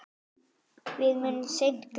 Við munum seint gleyma honum.